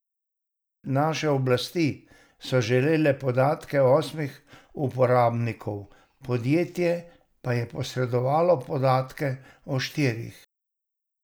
Naše oblasti so želele podatke osmih uporabnikov, podjetje pa je posredovalo podatke o štirih.